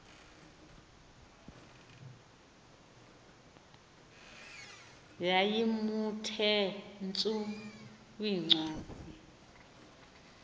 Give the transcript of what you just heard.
yayiwnthe tsu kwincwadi